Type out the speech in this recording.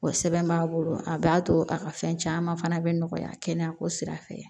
O sɛbɛn b'a bolo a b'a to a ka fɛn caman fana bɛ nɔgɔya kɛnɛyako sira fɛ